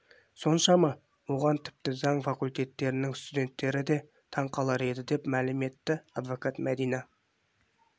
соншама оған тіпті заң факультетінің студенттері де таң қалар еді деп мәлім етті адвокат мәдина